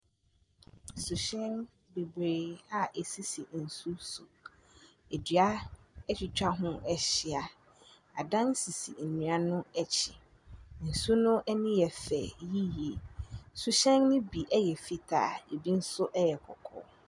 Suhyɛn bebree a ɛsisi nsuo so. Nnua atwitwa ho ahyia. Adan sisi nnua no akyi. Nsuo no ani yɛ fɛ yie. Suhyɛn no bi yɛ fitaa ebi nso yɛ kɔkɔɔ.